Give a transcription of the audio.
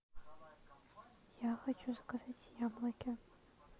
я хочу заказать яблоки